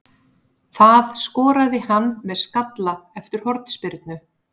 Það skoraði hann með skalla eftir hornspyrnu.